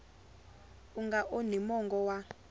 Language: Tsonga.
u nga onhi mongo wa